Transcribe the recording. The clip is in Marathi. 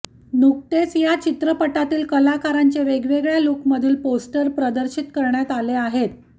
नुकताच या चित्रपटातील कलाकारांचे वेगवेगळ्या लूकमधील पोस्टर प्रदर्शित करण्यात आले आहेत